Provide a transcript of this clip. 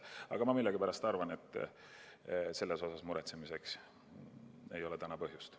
Aga ma millegipärast arvan, et selle pärast muretsemiseks ei ole praegu põhjust.